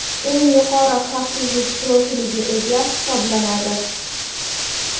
eng yuqori xavfsizlik profiliga ega hisoblanadi.